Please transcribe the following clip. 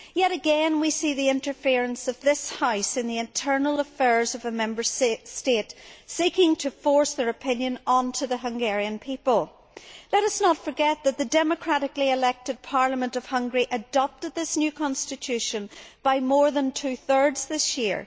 Yet again we see the interference of this House in the internal affairs of a Member State, seeking to force its opinion on the Hungarian people. Let us not forget that the democratically elected parliament of Hungary adopted this new constitution by more than two thirds this year.